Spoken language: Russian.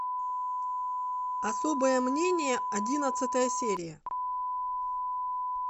особое мнение одиннадцатая серия